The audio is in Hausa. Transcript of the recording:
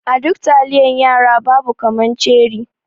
A duk taliyan yara babu kaman ceri.